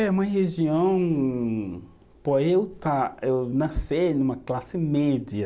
É uma região, por eu estar, eu nascer numa classe média,